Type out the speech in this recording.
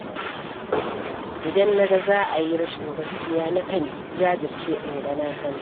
Idan na ga za a yi rashin gaskiya na kan jajirce in ga na hana.